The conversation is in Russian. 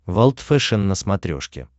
волд фэшен на смотрешке